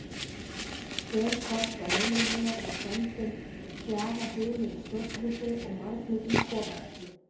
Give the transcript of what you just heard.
Spölkorn frá heimili hennar var sendin fjara hulin stórgrýti og marglitum kofaræflum.